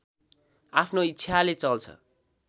आफ्नो इच्छाले चल्छ